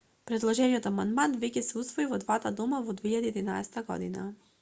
предложениот амандман веќе се усвои во двата дома во 2011 г